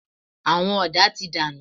Àwọn ọ̀dà ti dànù.